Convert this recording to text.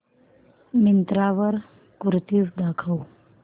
मिंत्रा वर कुर्तीझ दाखव